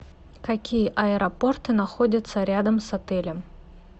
какие аэропорты находятся рядом с отелем